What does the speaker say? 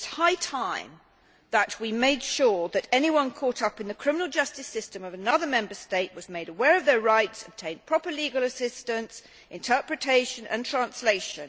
It is high time that we made sure that anyone caught up in the criminal justice system of another Member State was made aware of their rights and obtained proper legal assistance, interpretation and translation.